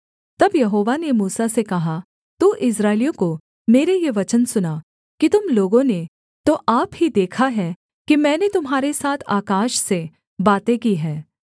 तब यहोवा ने मूसा से कहा तू इस्राएलियों को मेरे ये वचन सुना कि तुम लोगों ने तो आप ही देखा है कि मैंने तुम्हारे साथ आकाश से बातें की हैं